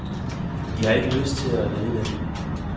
De har ikke lyst til at lede landet.